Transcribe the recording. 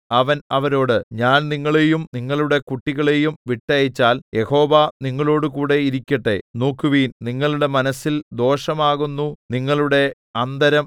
അവൻ അവരോട് ഞാൻ നിങ്ങളെയും നിങ്ങളുടെ കുട്ടികളെയും വിട്ടയച്ചാൽ യഹോവ നിങ്ങളോടുകൂടെ ഇരിക്കട്ടെ നോക്കുവിൻ നിങ്ങളുടെ മനസ്സിൽ ദോഷമാകുന്നു നിങ്ങളുടെ അന്തരം